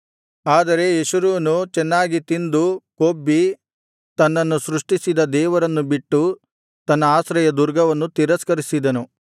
ಆದರೆ ಯೆಶುರೂನು ಚೆನ್ನಾಗಿ ತಿಂದು ಕೊಬ್ಬಿ ತನ್ನನ್ನು ಸೃಷ್ಟಿಸಿದ ದೇವರನ್ನು ಬಿಟ್ಟು ತನ್ನ ಆಶ್ರಯದುರ್ಗವನ್ನು ತಿರಸ್ಕರಿಸಿದನು